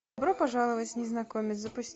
добро пожаловать незнакомец запусти